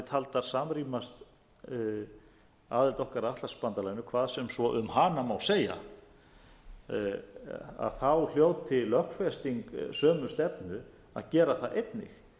taldar samrýmast aðild okkar að atlantshafsbandalaginu hvað sem svo um hana má segja hljóti lögfesting sömu stefnu að gera það einnig